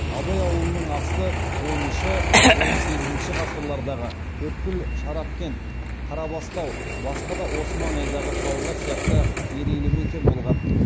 абай ауылының асты оныншы он сегізінші ғасырлардағы төрткүл шарапкент қарабастау басқа да осы маңайдағы қалалар сияқты мерейлі мекен болған